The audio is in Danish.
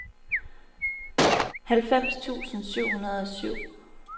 halvfems tusind syv hundrede og syv